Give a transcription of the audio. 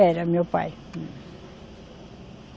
Era, meu pai.